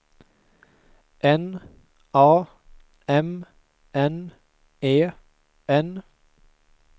N A M N E N